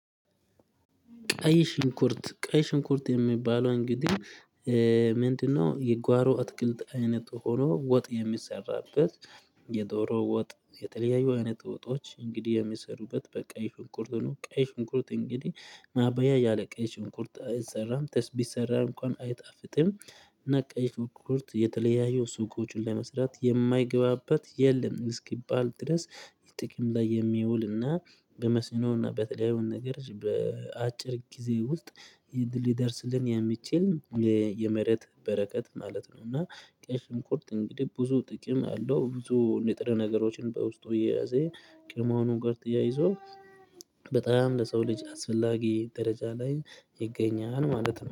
ቀይ ሽንኩርት ቀይ ሽንኩርት የሚባለው እንግዲህ ምንድነው? የጓሮ አትክልት አይነት ሆኖ ወጥ የሚሰራበት የዶሮ ወጥ የተለያዩ አይነት ወጦች እንግዲህ የሚሰሩበት በቀይ ሽንኩርት ነው። ቀይ ሽንኩርት እንግዲህ ማባያ ያለ ቀይ ሽንኩርት አይሰራም ተስ ቢሰራም እንኳን አይጣፍጥም። እና ቀይ ሽንኩርት የተለያየ ሱቆችን ለመስራት የማይገባበት የለም። እስኪባል ድረስ ጥቂም ላይ የሚውልና በመስኖና በተለያዩ ነገር በአጭር ጊዜ ውስጥ የድል ይደርስልን የሚችል የመሬት በረከት ማለት ነው። እና ቀይ ሽንኩርት እንግዲህ ብዙ ጥቅም አለው። ብዙ ንጥረ ነገሮችን በውስጡ የያዘ ከመሆኑ ጋር ተያይዞ በጣም ለሰው ልጅ አስፈላጊ ደረጃ ላይ ይገኛል ማለት ነው